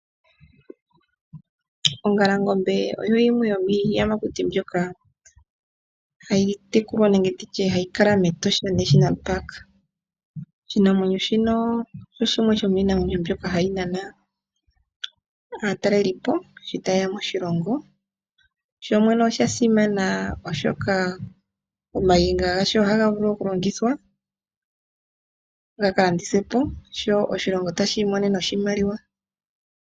Ongalongombe oyo yimwe yomiiyamakuti mbyoka ha yi tekulwa nenge nditye ha yi kala mEtosha National Park. Oshinamwenyo shino osho shimwe shomiinamwenyo mbyoka ha yi nana aatalelipo sho ta yeya moshilongo, sho shene osha simana oshoka ooniga dhasho oha dhi vulu okulandithwapo sho oshilongo ta shi imonene oshimaliwa.